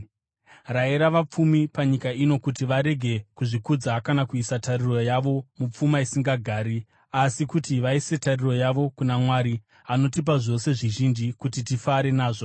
Rayira vapfumi panyika ino kuti varege kuzvikudza kana kuisa tariro yavo mupfuma, isingagari, asi kuti vaise tariro yavo kuna Mwari, anotipa zvose zvizhinji kuti tifare nazvo.